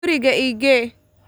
Guriga i gee.